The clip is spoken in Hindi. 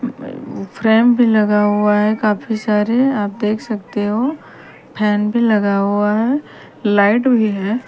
फ्रेम भी लगा हुआ है काफी सारे आप देख सकते हो फैन भी लगे हुए हैं लाइट भी हैं।